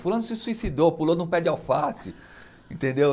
Fulano se suicidou, pulou num pé de alface, entendeu?